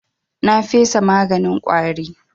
Na fesa maganin ƙwari.